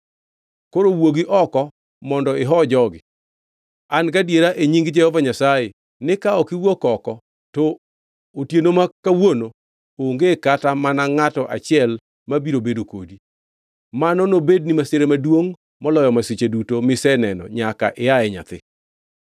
Koro wuogi oko mondo iho jogi. An gadiera e nying Jehova Nyasaye ni ka ok iwuok oko, to otieno ma kawuono onge kata mana ngʼato achiel ma biro bedo kodi. Mano nobedni masira maduongʼ moloyo masiche duto miseneno nyaka ia e nyathi.”